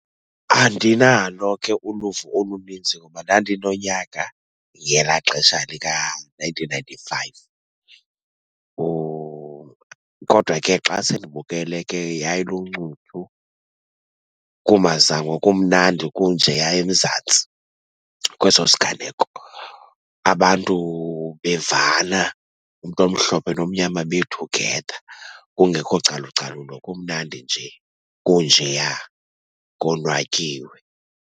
Andinalo ke uluvo olunintsi ngoba ndandinonyaka ngelaa xesha lika-nineteen ninety-five, kodwa ke xa sendibukele ke yayiluncuthu kumazangwa, kumnandi kunjeya eMzantsi kweso siganeko. Abantu bevana, umntu omhlophe nomnyama be-together kungekho calucalulo. Kumnandi nje, kunjeya konwatyiwe.